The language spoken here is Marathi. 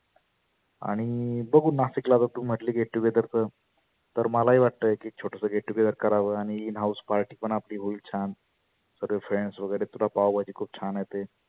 आणि बघु नाशिकला आता तु म्हटली get together क तर मला ही वाटतय की छोटसं get together कराव आणि in house party पण आपली होईल छान. सर्वे friends वगेरे तुला पाव भाजी खुप छान येते.